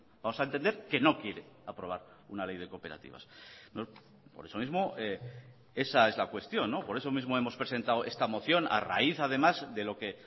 vamos a entender que no quiere aprobar una ley de cooperativas por eso mismo esa es la cuestión por eso mismo hemos presentado esta moción a raíz además de lo que